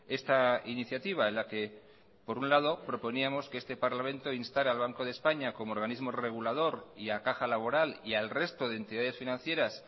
esta iniciativa en la que por un lado proponíamos que este parlamento instara al banco de españa como organismo regulador y a caja laboral y al resto de entidades financieras